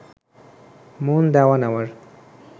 মন দেওয়া নেওয়ার